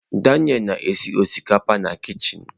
Daniel na-esi osikapa na kichin.